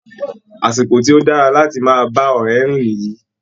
Àsìkò tí ó dára láti máa bá ọ̀rẹ́ rìn nìyí